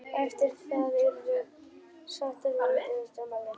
Eftir það urðum sáttar við útivistarmálin.